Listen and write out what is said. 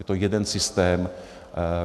Je to jeden systém.